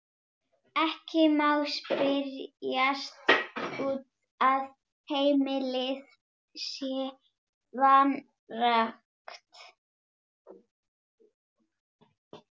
Ekki má spyrjast út að heimilið sé vanrækt.